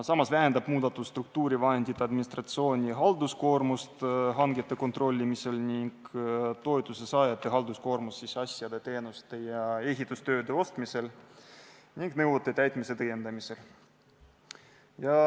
Samas vähendab muudatus struktuurivahendide administratsiooni halduskoormust hangete kontrollimisel ning toetusesaajate halduskoormust asjade, teenuste ja ehitustööde ostmisel ning nõuete täitmise tõendamisel.